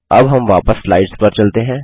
अब हम वापस स्लाइड्स पर चलते हैं